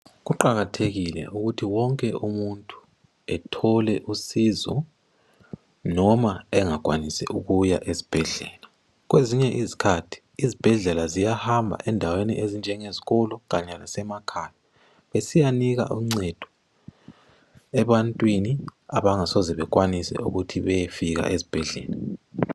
Kuqakathekile ukuthi wonke umuntu ethole usizo noma engakwanisi ukuya esibhedlela. Kwezinye izikhathi izibhedlela ziyahamba endaweni ezinjengezikolo kanye lasemakhaya besiyanika uncedo ebantwini abangasoze bekwanise ukuthi beyefika ezibhedlela.